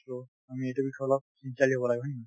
তো আমি এইটো বিষয়ত অলপ sincerely হব লাগিব হয় নে নহয় ,